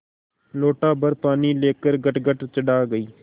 लोटाभर पानी लेकर गटगट चढ़ा गई